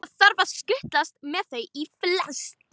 Það þarf að skutlast með þau í flest.